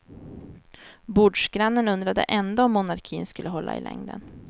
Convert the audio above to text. Bordsgrannen undrade ändå om monarkin skulle hålla i längden.